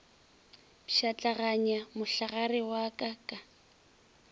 pšhatlaganya mohlagare wa ka ka